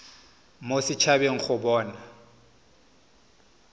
mo set habeng go bona